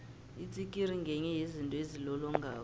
itsikiri ngenye yezinto ezilolongako